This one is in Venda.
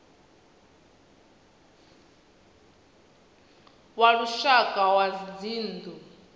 wa lushaka wa zwa dzinnu